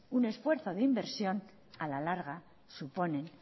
un esfuerzo de inversión a la larga suponen